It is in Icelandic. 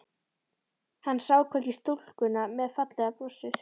Hann sá hvergi stúlkuna með fallega brosið.